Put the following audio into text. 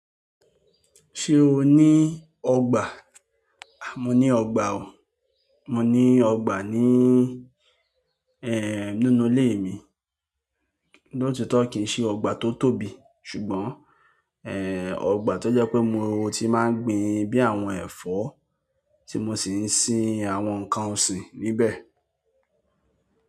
Ṣé o ní ọgbà? A mo ní ọgbà o. Mo ni ọgbà nínú ile mi lótitó kí í ṣe ọgbà tó tóbi ṣùgbọ́n, ẹ, ọgbà tó jẹ́ pé mo ti máa ń gbin bí i àwọn ẹ̀fọ́ tí mo sì ń sin àwọn nǹkan ọ̀sìn níbẹ̀.